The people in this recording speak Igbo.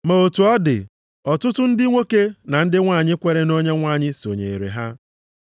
Ma otu ọ dị, ọtụtụ ndị nwoke na ndị nwanyị kwere nʼOnyenwe anyị sonyere ha.